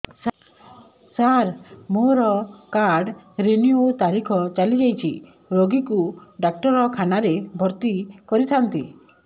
ସାର ମୋର card renew ତାରିଖ ଚାଲି ଯାଇଛି ରୋଗୀକୁ ଡାକ୍ତରଖାନା ରେ ଭର୍ତି କରିଥାନ୍ତି